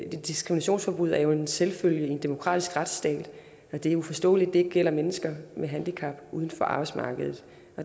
diskriminationsforbud er en selvfølge i en demokratisk retsstat og at det er uforståeligt at det ikke gælder mennesker med handicap uden for arbejdsmarkedet